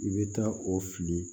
I bɛ taa o fili